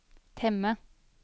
temme